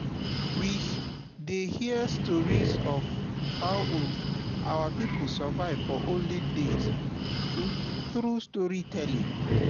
we dey hear stories of how um our people survive for olden days um through storytelling.